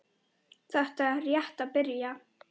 Þetta er rétt að byrja.